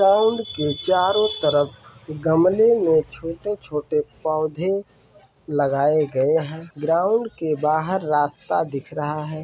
Ground के चारो तरफ गमले में छोटे-छोटे पौधे लगाया गये हैं। ग्राउन्ड के बहार रास्ता दिख रहा है।